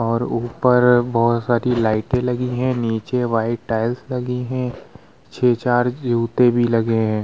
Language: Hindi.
और उपर बहुत सारी लाइटे लगी हैं नीचे व्हाइट टाइल्स लगी हैं छह-चार जूते भी लगे हैं ।